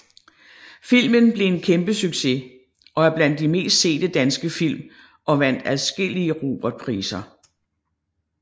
Filmen blev en kæmpe succes og er blandt de mest sete danske film og vandt adskillige Robertpriser